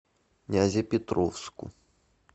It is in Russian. нязепетровску